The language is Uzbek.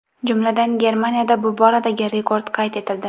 Jumladan, Germaniyada bu boradagi rekord qayd etildi.